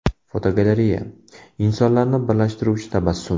Fotogalereya: Insonlarni birlashtiruvchi tabassum.